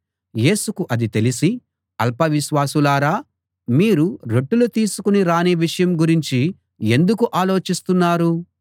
యేసుకు అది తెలిసి అల్పవిశ్వాసులారా మీరు రొట్టెలు తీసుకు రాని విషయం గురించి ఎందుకు ఆలోచిస్తున్నారు